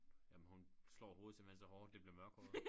Jamen hun slår hovedet simpelthen så hårdt det bliver mørkhåret